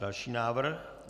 Další návrh.